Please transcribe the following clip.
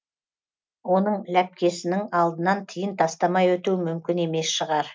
оның ләпкесінің алдынан тиын тастамай өту мүмкін емес шығар